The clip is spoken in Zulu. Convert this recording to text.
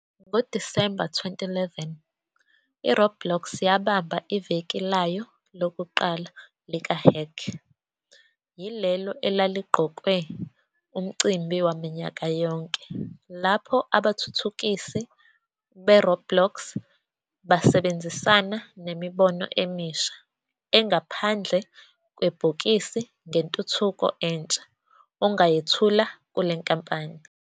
NgoDisemba 2011, iRoblox yabamba iVeki layo lokuqala likaHack yilelo elaligqokwe, umcimbi waminyaka yonke lapho abathuthukisi beRoblox basebenzisana nemibono emisha engaphandle kwebhokisi ngentuthuko entsha ongayethula kule nkampani.